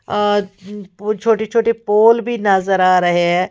आ वो छोटे छोटे पोल भी नजर आ रहे हैं।